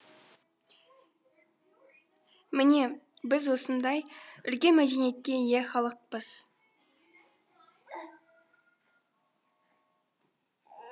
міне біз осындай үлкен мәдениетке ие халықпыз